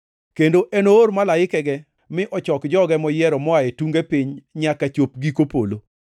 Kendo enoor malaikege mi ochok joge moyiero moa e tunge piny nyaka chop giko polo.